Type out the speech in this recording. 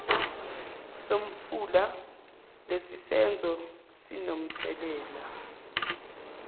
somfula lesisenzo sinomthelela